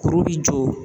Kuru bi jɔ